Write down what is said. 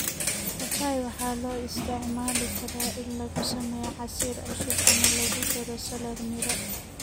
Papaya waxaa loo isticmaali karaa in lagu sameeyo casiir cusub ama lagu daro salad miro.